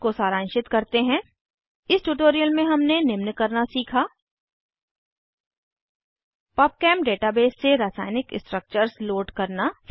इसको सारांशित करते हैं इस ट्यूटोरियल में हमने निम्न करना सीखा पबचेम डेटाबेस से रासायनिक स्ट्रक्चर्स लोड करना